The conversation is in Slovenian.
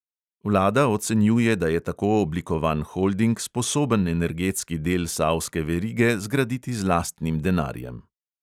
Vlada ocenjuje, da je tako oblikovan holding sposoben energetski del savske verige zgraditi z lastnim denarjem.